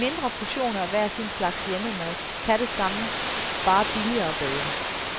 De mindre portioner af hver sin slags hjemmemad kan det samme, bare billigere og bedre.